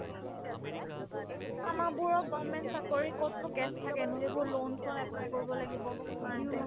আমাৰবোৰৰ government চাকৰি ক'তনো cash থাকে ন এইবোৰ loan চোনত apply কৰিব লাগিব মাইহতে